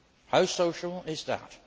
How social is that?